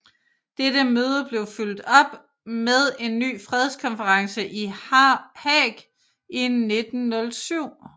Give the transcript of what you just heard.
Dette møde blev fulgt op med en ny fredskonference i Haag i 1907